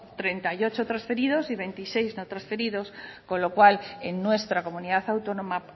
treinta y ocho transferidos y veintiséis no transferidos con lo cual en nuestra comunidad autónoma